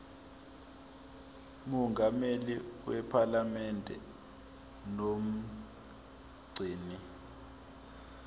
mongameli wephalamende nomgcini